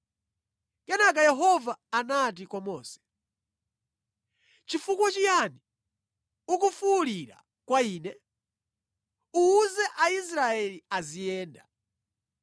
Kenaka Yehova anati kwa Mose, “Chifukwa chiyani ukufuwulira kwa ine? Uwuze Aisraeli aziyenda.